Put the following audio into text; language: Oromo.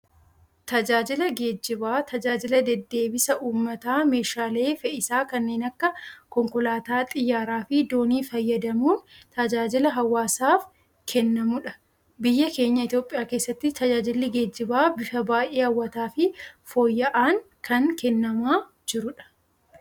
Tajaajilli geejibaa, tajaajila deddeebisa uummataa meeshaalee fe'isaa kanneen akka konkolaataa, xiyyaaraa fi doonii fayyadamuun tajaajila hawaasaaf kennamudha. Biyya keenya Itoophiyaa keessatti tajaajilli geejibaa bifa baayyee hawwataa fi fooyya'aan kan kennamaa jirudha.